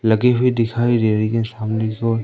लगी हुई दिखाई दे रही है सामने की ओर--